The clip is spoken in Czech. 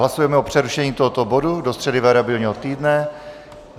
Hlasujeme o přerušení tohoto bodu do středy variabilního týdne.